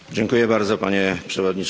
Panie Przewodniczący!